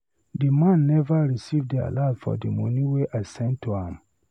The man never receive the alert for the money I sent to am.